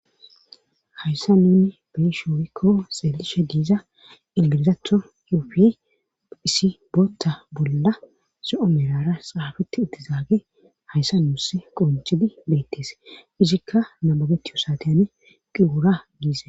hayssa nuni beeyishin woyikko xeelishe diiza inmilzatho xuufiy issi bootta bolla zo'o qalamera xaafeti ittizaage hayssa nuusse qoncchidi beettees izikka nababeti yosaateyane qiwura giize